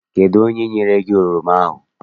Kedụ onye nyere gị oroma ahụ?